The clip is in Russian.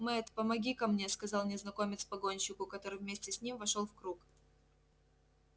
мэтт помогите ка мне сказал незнакомец погонщику который вместе с ним вошёл в круг